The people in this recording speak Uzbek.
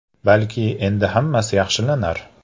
Balki endi hammasi yaxshilanar?